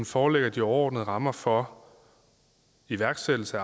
forelægger de overordnede rammer for iværksættelse